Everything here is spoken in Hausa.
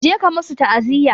Je ka musu taaziya!